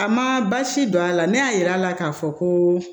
A ma basi don a la ne y'a yira a la k'a fɔ ko